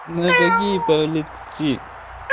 на какие палец чи